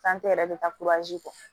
yɛrɛ bɛ taa kɛ